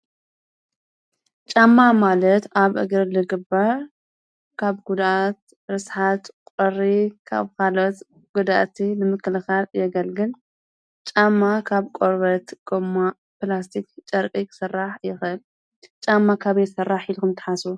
ጫማ ማለት አብ እግሪ ዝግበር ካብ ጉድአት ረስሓት ቁሪ ካብ ኮልኦት ጓደእቲ ምክልኻል የገልግል። ጫማ ካብ ቆርበት፣ ጎማ፣ ፕላስቲክ ይስራሕ። ጫማ ካበይ ይስራሕ ኢልኩም ትሓስቡ ዶ?